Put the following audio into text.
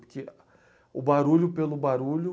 Porque o barulho pelo barulho